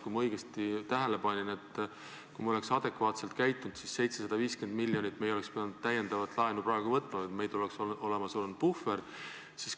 Kui ma õigesti tähele panin, siis kui me selles situatsioonis oleks adekvaatselt käitunud, ei oleks me pidanud 750 miljonit täiendavat laenu praegu võtma, vaid meil oleks olnud olemas puhver.